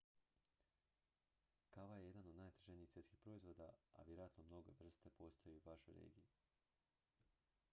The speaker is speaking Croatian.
kava je jedan od najtraženijih svjetskih proizvoda a vjerojatno mnoge vrste postoje i u vašoj regiji